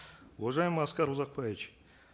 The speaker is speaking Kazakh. уважаемый аскар узакбаевич